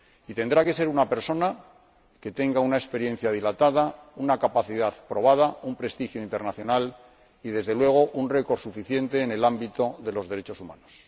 Y tendrá que ser una persona que tenga una experiencia dilatada, una capacidad probada, un prestigio internacional y, desde luego, un currículo suficiente en el ámbito de los derechos humanos.